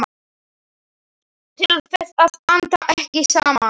Til þess að anda ekki saman.